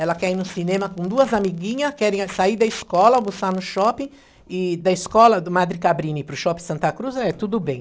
Ela quer ir no cinema com duas amiguinhas, querem eh, sair da escola, almoçar no shopping, e da escola do Madre Cabrini para o shopping Santa Cruz, é tudo bem.